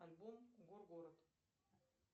альбом горгород